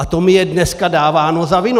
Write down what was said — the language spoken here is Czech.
A to mi je dneska dáváno za vinu.